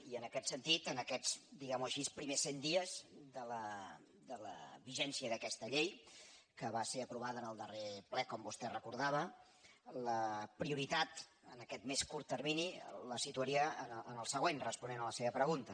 i en aquest sentit en aquests diguem·ho així primers cent dies de la vigència d’aquesta llei que va ser aprovada en el darrer ple com vostè recordava la prioritat en aquest més curt termini la situaria en el següent responent a la seva pregunta